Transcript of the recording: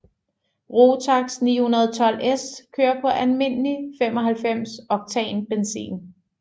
Rotax 912S kører på almindeligt 95 oktan benzin